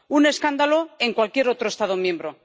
Un escándalo en cualquier otro Estado miembro.